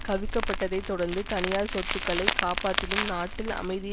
கவிழ்க்கப்பட்டதைத் தொடர்ந்து தனியார் சொத்துக்களை காப்பதிலும் நாட்டில் அமைதியை